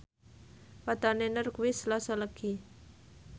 wetone Nur kuwi Selasa Legi